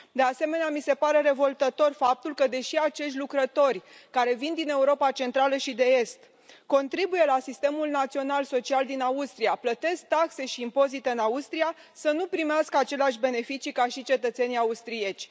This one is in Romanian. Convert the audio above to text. De asemenea, mi se pare revoltător faptul că, deși acești lucrători care vin din Europa Centrală și de Est contribuie la sistemul național social din Austria, plătesc taxe și impozite în Austria, nu primesc aceleași beneficii ca și cetățenii austrieci.